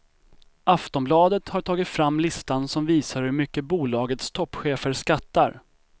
Aftonbladet har tagit fram listan som visar hur mycket bolagets toppchefer skattar.